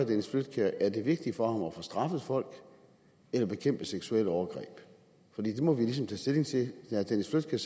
dennis flydtkjær er det vigtigt for ham at få straffet folk eller at bekæmpe seksuelle overgreb for det må vi jo ligesom tage stilling til herre dennis